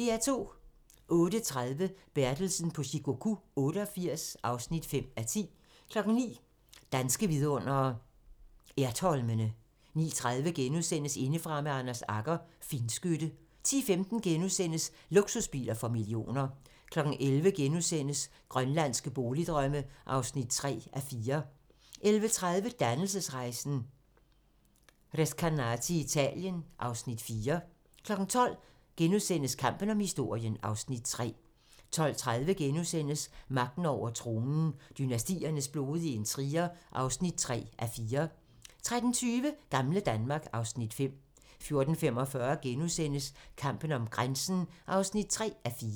08:30: Bertelsen på Shikoku 88 (5:10) 09:00: Danske vidundere: Ertholmene 09:30: Indefra med Anders Agger - Finskytte * 10:15: Luksusbiler for millioner * 11:00: Grønlandske boligdrømme (3:4)* 11:30: Dannelsesrejsen - Recanati i Italien (Afs. 4) 12:00: Kampen om historien (Afs. 3)* 12:30: Magten over tronen - Dynastiernes blodige intriger (3:4)* 13:20: Gamle Danmark (Afs. 5) 14:45: Kampen om grænsen (3:4)*